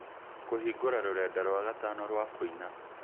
kũhingũra rũrenda rwa gatano rwa kũina